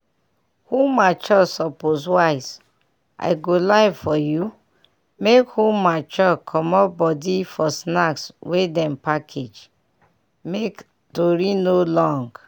who mature suppose wise i go lie for you make who mature comot body for snacks wey dem package make tori no long.